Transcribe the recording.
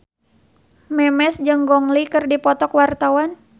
Memes jeung Gong Li keur dipoto ku wartawan